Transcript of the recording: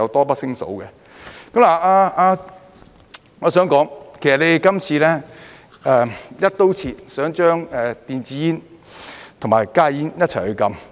我想說，其實你們今次"一刀切"，想將電子煙和加熱煙一起禁止。